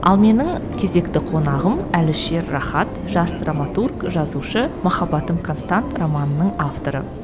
ал менің кезекті қонағым әлішер рахат жас драматург жазушы махаббатым констант романының авторы